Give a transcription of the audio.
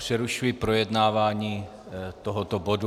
Přerušuji projednávání tohoto bodu.